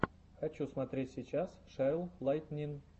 хочу смотреть сейчас шерл лайтнин